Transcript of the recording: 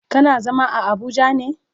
Kana zama a abuja ne?